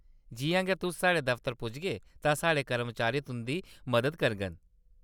जिʼयां गै तुस साढ़े दफ्तर पुजगे तां साढ़े कर्मचारी तुंʼदी मदद करङन।